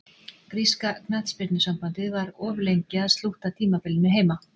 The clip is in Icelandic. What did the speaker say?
Gríska knattspyrnusambandið var of lengi að slútta tímabilinu heima.